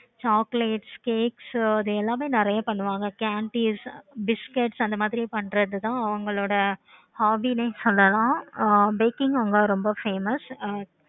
chocolates, cakes அது எல்லாமே நெறைய பண்ணுவாங்க. candies, biscuits அந்த மாதிரி நெறைய பண்றதுதான் அவங்களுடைய hobby னு சொல்லலாம். ஆஹ் baking அங்க ரொம்ப famous